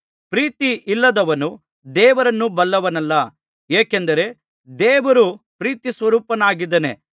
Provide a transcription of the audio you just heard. ಪ್ರೀತಿ ಇಲ್ಲದವನು ದೇವರನ್ನು ಬಲ್ಲವನಲ್ಲ ಏಕೆಂದರೆ ದೇವರು ಪ್ರೀತಿಸ್ವರೂಪನಾಗಿದ್ದಾನೆ